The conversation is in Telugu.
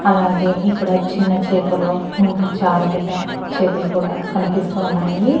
అలాగే ఇక్కడ చిన్న చేపలు ఇంకా చాలా పెద్ద చేపలు కూడా కనిపిస్తూ ఉన్నాయి.